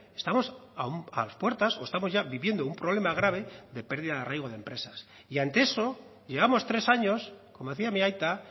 estamos a las puertas o estamos ya viviendo un problema grave de pérdida de arraigo de empresas y ante eso llevamos tres años como decía mi aita